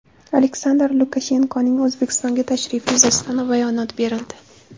Aleksandr Lukashenkoning O‘zbekistonga tashrifi yuzasidan bayonot berildi.